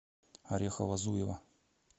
орехово зуево